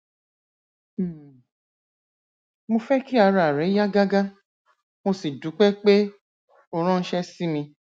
um mo fẹ kí ara rẹ yá gágá mo sì dúpẹ pé o ránṣẹ sí mi